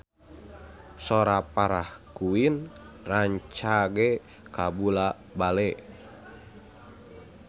Sora Farah Quinn rancage kabula-bale